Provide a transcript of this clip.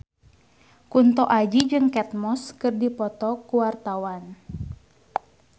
Kunto Aji jeung Kate Moss keur dipoto ku wartawan